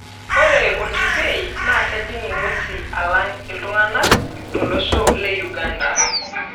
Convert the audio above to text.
Ore olkipei naa kejing' ng'wesi alang' iltung'ana tolosho le Uganda.